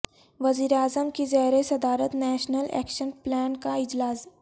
وزیر اعظم کی زیر صدارت نیشنل ایکشن پلان کا اجلاس